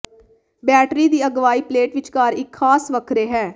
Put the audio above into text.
battery ਦੀ ਅਗਵਾਈ plate ਵਿਚਕਾਰ ਇੱਕ ਖਾਸ ਵੱਖਰੇ ਹੈ